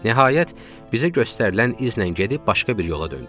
Nəhayət, bizə göstərilən izlə gəlib başqa bir yola döndük.